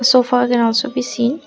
sofa i can also be seen.